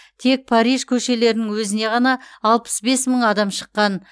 тек париж көшелерінің өзіне ғана алпыс бес мың адам шыққан